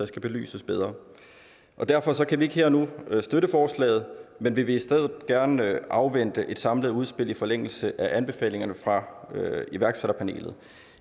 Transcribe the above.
skal belyses bedre derfor kan vi ikke her og nu støtte forslagene men vi vil i stedet gerne afvente et samlet udspil i forlængelse af anbefalingerne fra iværksætterpanelet